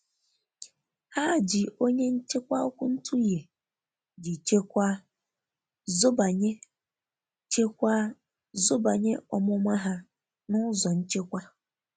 Ha ji onye nchekwa ọkwụntughe ji chekwa zobanye chekwa zobanye ọmụma ha na ụzọ nchekwa.